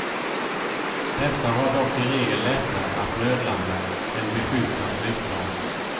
Dessa har dock i regel lättare att nödlanda än beskjutna flygplan.